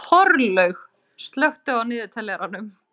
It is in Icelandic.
Þorlaug, slökktu á niðurteljaranum.